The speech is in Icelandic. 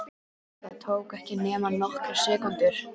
Það tók ekki nema nokkrar sekúndur.